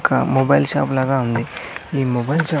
ఒక mobile shop లాగా ఉంది ఈ మొబైల్ షాప్ --